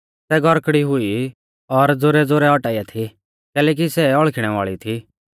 सै गौरकड़ी हुई और ज़ोरैज़ोरै औटाइया थी कैलैकि सै हौल़खिणै वाल़ी थी